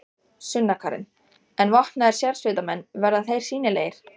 Sunna Karen: En vopnaðir sérsveitarmenn, verða þeir sýnilegir?